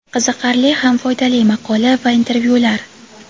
Qiziqarli ham foydali maqola va intervyular.